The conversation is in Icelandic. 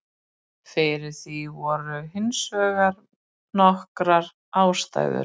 Fyrir því voru hins vegar nokkrar ástæður.